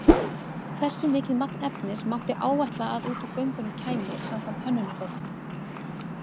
Hversu mikið magn efnis mátti áætla að út úr göngunum kæmi samkvæmt hönnunargögnum?